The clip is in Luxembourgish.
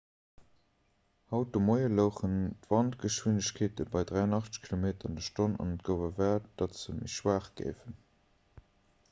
haut de moie louchen d'wandgeschwindegkeete bei 83 km/h an et gouf erwaart datt se méi schwaach géifen